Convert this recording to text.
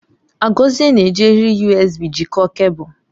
Agozie na-eji eriri USB jikọọ kebul.